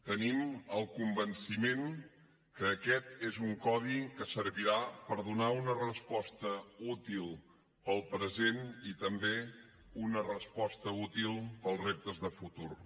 tenim el convenciment que aquest és un codi que servirà per donar una resposta útil per al present i també una resposta útil per als reptes de futur